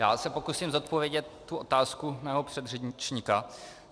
Já se pokusím zodpovědět tu otázku mého předřečníka.